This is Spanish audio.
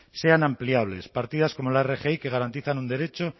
sean ampliables partidas como la rgi que garantizan un derecho